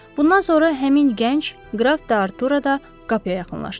Bundan sonra həmin gənc, qraf D'Artua da qapıya yaxınlaşdı.